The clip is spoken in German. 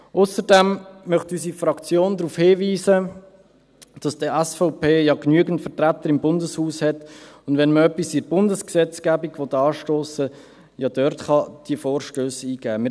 Ausserdem möchte unsere Fraktion darauf hinweisen, dass die SVP ja genügend Vertreter im Bundeshaus hat, und wenn man etwas in der Bundesgesetzgebung anstossen will, kann man diese Vorstösse ja dort eingeben.